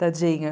Tadinho.